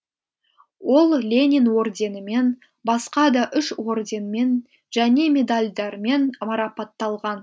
ол ленин орденімен басқа да үш орденмен және медальдармен марапатталған